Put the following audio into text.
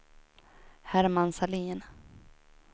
Herman Sahlin